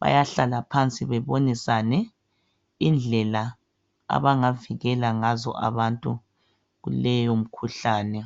bayahlala phansi bebonisane indlela abangavikela ngazo abantu kuleyo mkhuhlane.